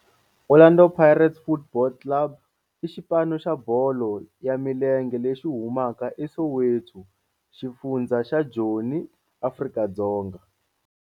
Orlando Pirates Football Club i xipano xa bolo ya milenge lexi humaka eSoweto, xifundzha xa Joni, Afrika-Dzonga.